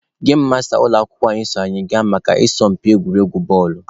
Gem masta ụlọ akwụkwọ anyị so anyị gaa maka asọmpi egwuregwu bọọlụ.